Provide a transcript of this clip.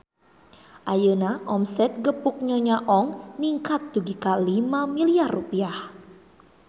Ayeuna omset Gepuk Nyonya Ong ningkat dugi ka 5 miliar rupiah